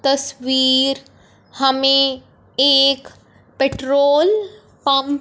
तस्वीर हमें एक पेट्रोल पंप --